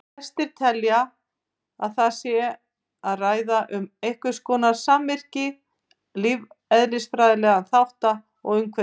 Flestir telja að um sé að ræða einhverskonar samvirkni lífeðlisfræðilegra þátta og umhverfisþátta.